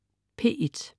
P1: